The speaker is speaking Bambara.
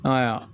Ayiwa